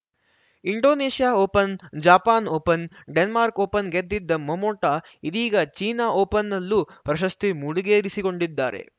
Indonesia Open Japan Open Denmark Open ಗೆದ್ದಿದ್ದ Momota ಇದೀಗ China ಓಪನ್‌ನಲ್ಲೂ ಪ್ರಶಸ್ತಿ ಮುಡಿಗೇರಿಸಿಕೊಂಡಿದ್ದಾರೆ